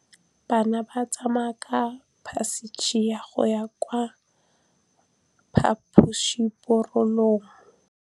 Bana ba tsamaya ka phašitshe go ya kwa phaposiborobalong.